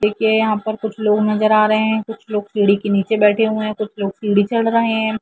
देखिये यहाँ पर कुछ लोग नजर आ रहे है कुछ लोग सीढ़ी के नीचे बैठे हुए है कुछ लोग सीढ़ी चढ़ रहे है है।